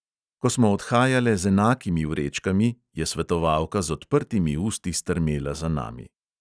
Ko smo odhajale z enakimi vrečkami, je svetovalka z odprtimi usti strmela za nami.